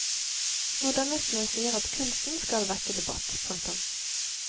Modernistene sier at kunsten skal vekke debatt. punktum